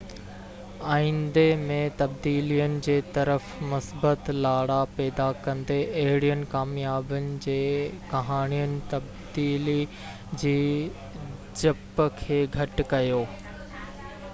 آئندي ۾ تبديلين جي طرف مثبت لاڙا پيدا ڪندي اهڙين ڪاميابين جي ڪهاڻين تبديلي جي ڊپ کي گهٽ ڪيو